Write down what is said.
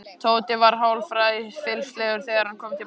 Tóti var hálfræfilslegur þegar hann kom til baka.